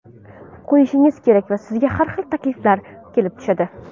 qo‘yishingiz kerak va sizga har xil takliflar kelib tushadi.